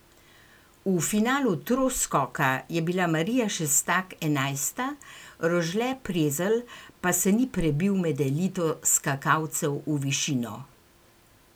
V finalu troskoka je bila Marija Šestak enajsta, Rožle Prezelj pa se ni prebil med elito skakalcev v višino.